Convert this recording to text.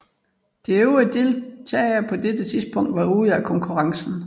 De øvrige deltagere var på det tidspunkt ude af konkurrencen